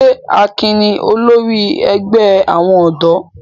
Ṣé Akin ni olórí ẹgbẹ́ àwọn ọ̀dọ́?